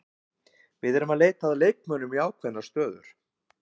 Við erum að leita að leikmönnum í ákveðnar stöður.